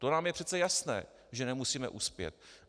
To nám je přece jasné, že nemusíme uspět.